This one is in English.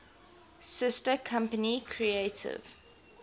sister company creative